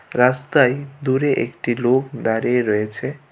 রাস্তায় দূরে একটি লোক দাঁড়িয়ে রয়েছে।